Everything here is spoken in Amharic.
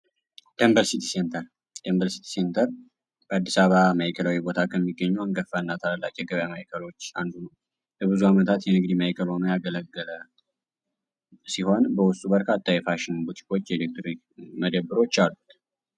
ደንበል ሲቲ ሴንተር ዴንበል ሲቲ ሴንተር በአዲስ አበባ ማዕከላዊ ቦታ ከሚገኙ አንጋፋ እና ታላላቅ የገበያ ማዕከሎች አንዱ ነው። ለብዙ አመታት የንግድ ማዕከል ሁኖ ያገለገለ ሲሆን በውስጡ በርካታ ፋሽኖች ፣የኤሌክትሪክ መደብሮች አሉት።